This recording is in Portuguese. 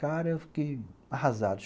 Cara, eu fiquei arrasado.